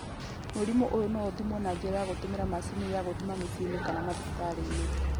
Mũrimũ ũyũ no ũthimwo na njĩra ya gũtũmĩra macini ya gũthima, mũciĩ kana thibitarĩ.